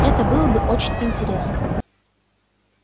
это было бы очень интересно